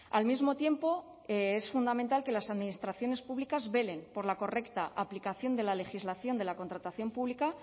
al mismo tiempo es fundamental que las administraciones públicas velen por la correcta aplicación de la legislación de la contratación pública